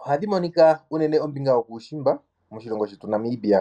ohadhi monika uunene kombinga yokuushimba moshilongo shetu Namibia.